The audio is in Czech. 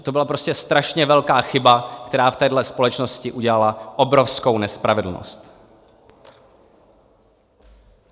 A to byla prostě strašně velká chyba, která v téhle společnosti udělala obrovskou nespravedlnost.